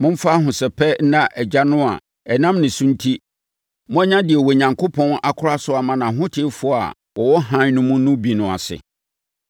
Momfa ahosɛpɛ nna Agya no a ɛnam ne so enti, moanya deɛ Onyankopɔn akora so ama nʼahotefoɔ a wɔwɔ ne hann no mu no bi no ase.